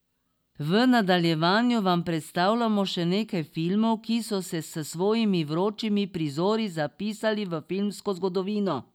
V nadaljevanju vam predstavljamo še nekaj filmov, ki so se s svojimi vročimi prizori zapisali v filmsko zgodovino.